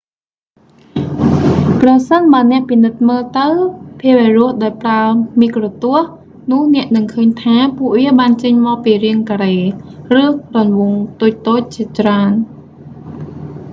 ប្រសិនបើអ្នកពិនិត្យមើលទៅភាវរស់ដោយប្រើមីក្រូទស្សន៍ នោះអ្នកនឹងឃើញថា ពួកវាបានចេញមកពីរាងការ៉េ ឬរង្វង់តូចៗជាច្រើន